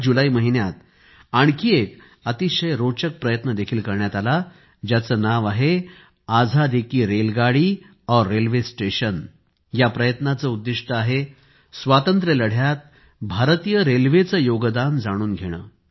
याच जुलै महिन्यात आणखी एक अतिशय रोचक प्रयत्न देखील करण्यात आला ज्याचे नाव आहे आझादी की रेलगाडी और रेल्वे स्टेशन या प्रयत्नाचे उद्दिष्ट आहे स्वातंत्र्यलढ्यात भारतीय रेल्वेचे योगदान जाणून घेणे